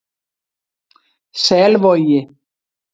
Selvogi